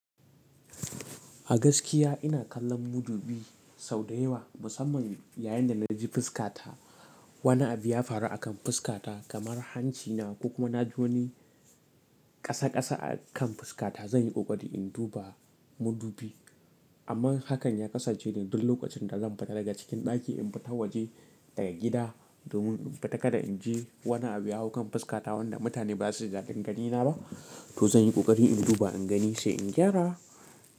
A gaskiya ina kallon mudubi sau da yawa musamman yayin da na ji fuskata. Wani abu ya faru akan fuskata kamar hanci na ko kuma na joni ƙasa ƙasa akan fuskata. Zan yi ƙoƙari in duba mudubi amma hakan ya kasance ne duk lokacin da zan fita daga cikin ɗaki in fita waje daga gida domin in fita kada in je wani abu ya hau kan fuskata wanda mutane ba za su ji dadin ganina ba. To zan yi ƙoƙari in duba in gani sai in gyara.